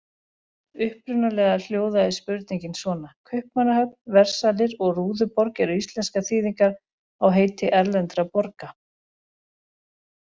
Upprunalega hljóðaði spurningin svona: Kaupmannahöfn, Versalir og Rúðuborg eru íslenskar þýðingar á heiti erlendra borga.